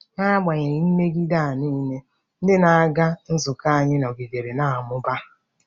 N'agbanyeghị mmegide a nile, ndị na-aga nzukọ anyị nọgidere na-amụba.